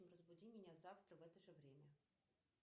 разбуди меня завтра в это же время